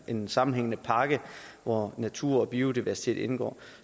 en samlet pakke hvor natur og biodiversitet indgår